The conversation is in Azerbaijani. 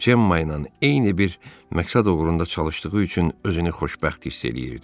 Cemmayla eyni bir məqsəd uğrunda çalıştığı üçün özünü xoşbəxt hiss eləyirdi.